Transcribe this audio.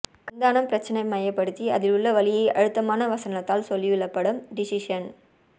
கண்தானம் பிரச்சனை மையபடுத்தி அதில் உள்ள வலியை அழுத்தமான வசனத்தால் சொல்லியுள்ள படம் டிசிஷன்